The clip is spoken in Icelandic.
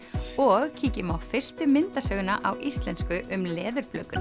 og kíkjum á fyrstu myndasöguna á íslensku um